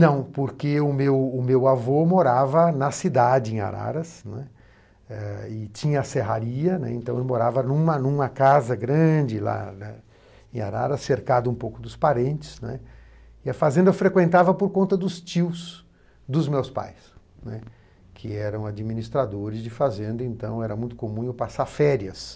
Não, porque o meu o meu avô morava na cidade, em Araras, né, e tinha a serraria, né, então eu morava em uma em uma casa grande lá em Araras, cercado um pouco dos parentes, né, e a fazenda eu frequentava por conta dos tios dos meus pais, né, que eram administradores de fazenda, então era muito comum eu passar férias.